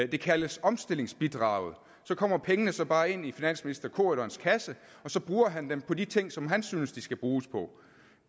det kaldes omstillingsbidraget så kommer pengene så bare ind i finansministerens kasse og så bruger han dem på de ting som han synes de skal bruges på